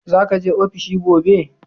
Za ka je ofishi gobe?